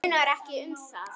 Það munar ekki um það.